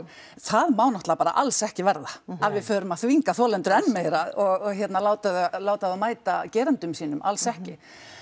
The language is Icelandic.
það má náttúrulega bara alls ekki verða að við förum að þvinga þolendur enn meira og láta láta þá mæta gerendum sínum alls ekki